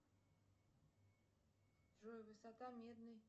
джой высота медной